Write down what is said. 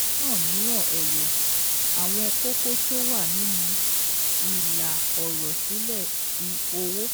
Lọ́nà mìíràn ẹ̀wẹ̀, àwọn kókó tó wà nínú ìlà ọ̀rọ̀ sílè ti owó